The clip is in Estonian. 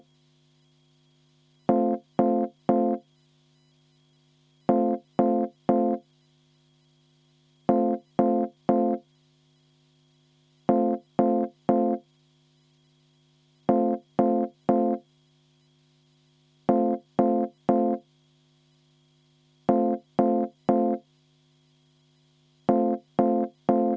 Eesti Keskerakonna fraktsiooni poolt sooviks kümme minutit vaheaega enne hääletust.